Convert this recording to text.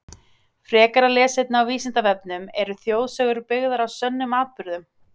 Frekara lesefni á Vísindavefnum Eru þjóðsögur byggðar á sönnum atburðum?